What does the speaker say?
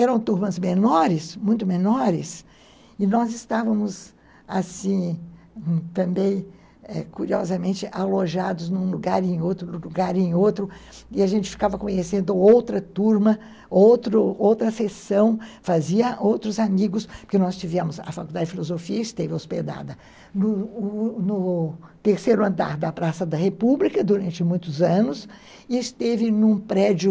Eram turmas menores, muito menores, e nós estávamos, assim, também, curiosamente, alojados num lugar e em outro, num lugar e em outro, e a gente ficava conhecendo outra turma, outro, outra sessão, fazia outros amigos, porque nós tivemos a Faculdade de Filosofia, esteve hospedada no terceiro andar da Praça da República durante muitos anos, e esteve num prédio